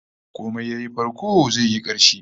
Komai yayi farko zai yi karshe